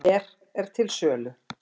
Ber til sölu